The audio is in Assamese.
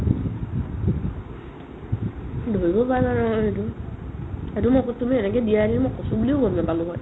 ধৰিব পাৰা নাই নহয় সেইটো সেইটো মোক তুমি এনেকে দিয়াহি মই কচু বুলিও গম নাপালো হৈ